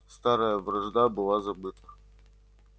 старая вражда была забыта